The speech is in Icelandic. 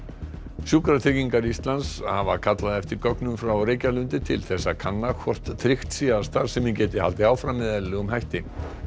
sjúkratryggingar Íslands hafa kallað eftir gögnum frá Reykjalundi til þess að kanna hvort tryggt sé að starfsemin geti haldið áfram með eðlilegum hætti